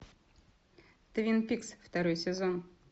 твин пикс второй сезон